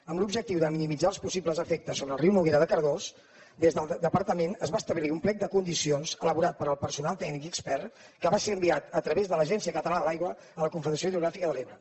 amb l’objectiu de minimitzar els possibles efectes sobre el riu noguera de cardós des del departament es va establir un plec de condicions elaborat pel personal tècnic i expert que va ser enviat a través de l’agència catalana de l’aigua a la confederació hidrogràfica de l’ebre